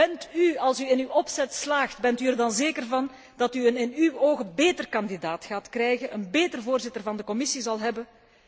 Bent u, als u in uw opzet slaagt, er zeker van dat u in uw ogen een betere kandidaat gaat krijgen, een betere voorzitter van de Commissie zult hebben?